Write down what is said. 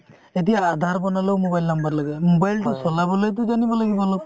এতিয়া Aadhaar বনালেও mobile number লাগে mobile টো চলাবলৈও টো জানিব লাগিব অলপ